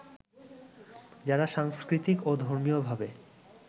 যারা সাংস্কৃতিক ও ধর্মীয়ভাবে